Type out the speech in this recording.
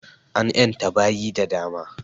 An ƴanta baƴi da dama